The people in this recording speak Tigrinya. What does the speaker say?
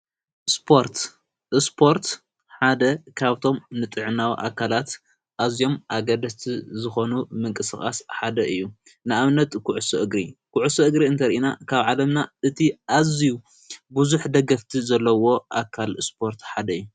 እስፖርት እስፖርት ሓደ ካብቶም ንጥዕናዊ ኣካላት ኣዚዮም ኣገደስቲ ዝኾኑ ምንቂስቓስ ሓደ እዩ ንኣብነትዂዑሱ እግሪ ኲዑሱ እግሪ እንተር ኢና ካብ ዓለምና እቲ ኣዚዩ ብዙኅ ደገፍቲ ዘለዎ ኣካል እስፖርት ሓደ እዮ።